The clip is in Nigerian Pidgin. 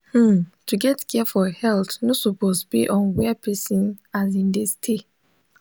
hmm to get care for health no suppose base on where person asin dey stay.